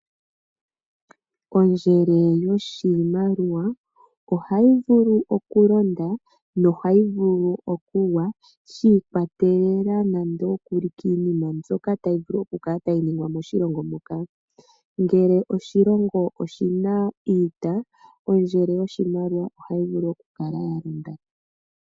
Ondjele yoshimaliwa ohayi vulu okulonda yo ohayi vulu okugwa shi ikwatelela kiinima mbyoka tayi vulu oku vulu okukala tayi ningwa koshilongo hoka, ngele oshilongo oshina iita ondjele yoshimaliwa ohayi vulu okukala ya londa.